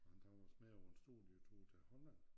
Og han tog os med på en stor ny tur til Holland